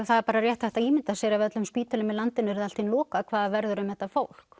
það er bara rétt hægt að ímynda sér ef öllum spítölum í landinu yrði allt í einu lokað hvað verður um þetta fólk